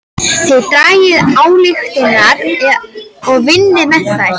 Þið dragið ályktanir og vinnið með þær.